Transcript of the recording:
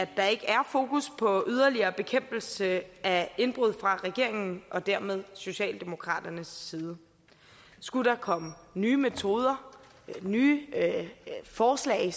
der ikke er fokus på yderligere bekæmpelse af indbrud fra regeringens og dermed socialdemokraternes side skulle der komme nye metoder nye forslag